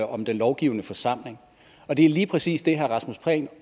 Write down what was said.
om den lovgivende forsamling og det er lige præcis det herre rasmus prehn